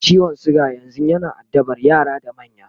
ciwon suga yanzun yana addaban yara da manya